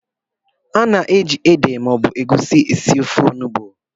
A na-eji ede maọbụ egusi esi ofe onugbu